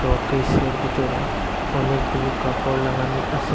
শোকিসের ভিতরে অনেকগুলো কাপড় লাগানো আসে।